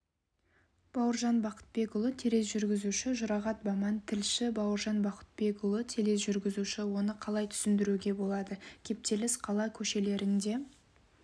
бауыржан бақытбекұлы тележүргізуші жұрағат баман тілші бауыржан бақытбекұлы тележүргізуші оны қалай түсінуге болады кептеліс қала көшелерінде